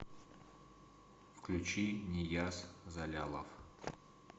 включи нияз залялов